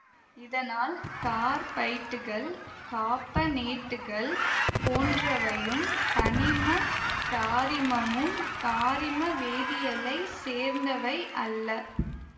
இதனால் கார்பைட்டுகள் காபனேட்டுகள் போன்றவையும் தனிமக் காரிமமும் காரிமவேதியியலைச் சேர்ந்தவை அல்ல